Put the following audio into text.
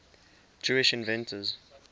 jewish inventors